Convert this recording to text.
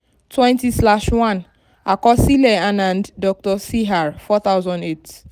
twenty slash one àkọsílẹ̀ anand dr cr four thousand eight